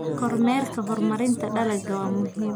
Kormeerka horumarinta dalagga waa muhiim.